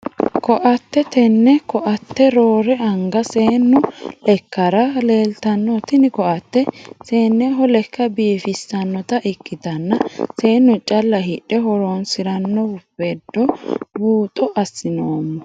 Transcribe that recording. Koatte tene koatte roore anga seenu lekera leeltano tini koatte seeneho lekka biifisanota ikitanna seenu calla hidhe horonsirano vede buuxo asinoomo.